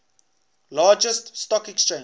largest stock exchange